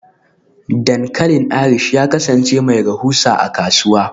Dankalin Irish ya kasance mai rahusa a kasuwa.